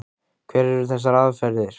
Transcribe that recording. Hverjar eru þessar aðferðir?